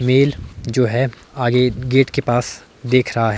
Mail जो है आगे गेट के पास देख रहा है।